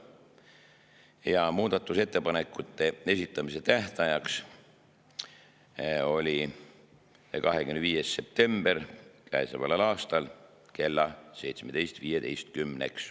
Ja muudatusettepanekute esitamise tähtaeg oli 25. september kell 17.15.